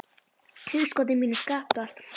hugskoti mínu skiptast á sókn og vörn.